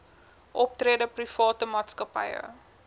optrede private maatskappye